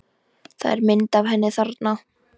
Það er mynd af henni þarna.